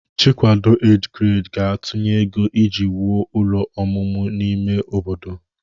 Chikwado Age Grade ga-atụnye ego iji wuo ụlọ ọmụmụ n'ime obodo